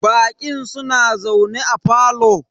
Baƙin suna zaune a parlour.